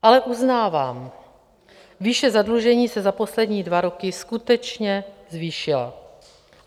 Ale uznávám, výše zadlužení se za poslední dva roky skutečně zvýšila.